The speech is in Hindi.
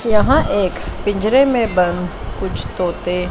यहां एक पिंजरे में बंद कुछ तोते--